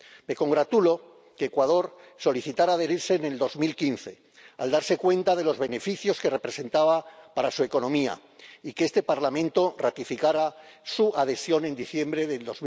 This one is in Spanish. Me congratulo de que Ecuador solicitara adherirse en 2015 al darse cuenta de los beneficios que representaba para su economía y de que este Parlamento ratificara su adhesión en diciembre del